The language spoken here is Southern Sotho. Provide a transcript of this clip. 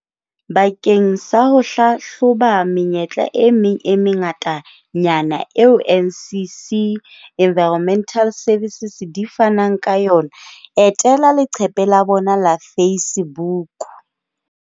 Bakeng sa ho hlahloba menyetla e meng e mengatanyana eo NCC Environmental Services di fanang ka yona, etela leqephe la bona la Facebook.